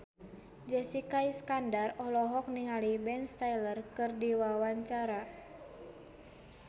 Jessica Iskandar olohok ningali Ben Stiller keur diwawancara